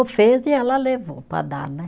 Fez e ela levou para dar, né?